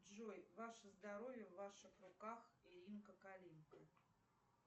джой ваше здоровье в ваших руках